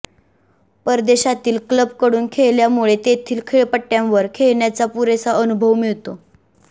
परदेशातील क्लबकडून खेळल्यामुळे तेथील खेळपट्ट्यांवर खेळण्याचा पुरेसा अनुभव मिळतो